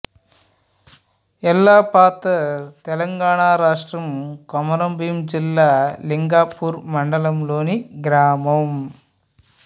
యెల్లపాతర్ తెలంగాణ రాష్ట్రం కొమరంభీం జిల్లా లింగాపూర్ మండలంలోని గ్రామం